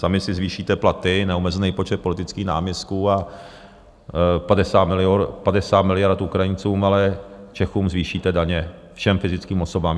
Sami si zvýšíte platy, neomezený počet politických náměstků a 50 miliard Ukrajincům, ale Čechům zvýšíte daně, všem fyzickým osobám.